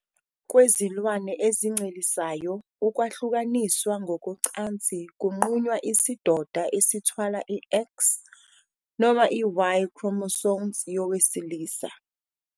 Kwezilwane ezincelisayo, ukwahlukaniswa ngokocansi kunqunywa isidoda esithwala i- X noma i- Y, chromosome, yowesilisa.